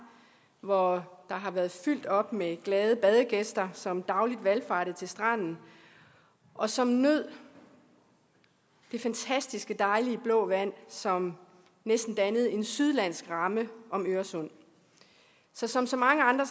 hvor der har været fyldt op med glade badegæster som dagligt valfartede til stranden og som nød det fantastiske dejlige blå vand som næsten dannede en sydlandsk ramme om øresund så som så mange andre